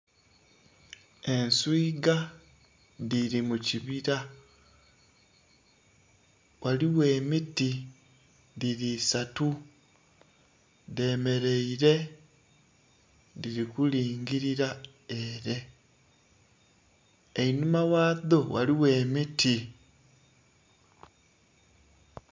Entwiga dhiri mukibira ghaligho emiti dhiri isatu dhemereire dhirikulingirira ere einhuma ghadho ghaligho emiti.